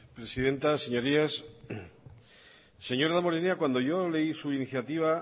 presidenta señorías señor damborenea cuando yo leí su iniciativa